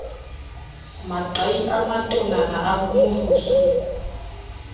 maqai a matonana a morusu